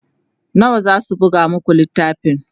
nawa zasu buga maku littafin?